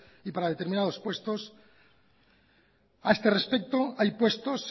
y para determinados puestos a este respecto hay puestos